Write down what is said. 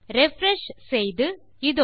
refresh செய்து இதோ